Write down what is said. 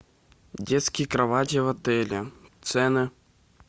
детские кровати в отеле цены